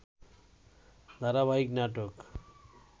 ধারাবাহিক নাটক